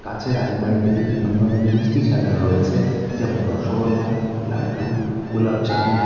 কাঁচের আলমারিতে বিভিন্ন ধরনের মিষ্টি সাজানো রয়েছে যেমন রসগোল্লা লাড্ডু গোলাপজামুন।